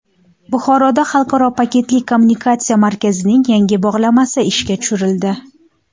Buxoroda xalqaro paketli kommutatsiya markazining yangi bog‘lamasi ishga tushirildi.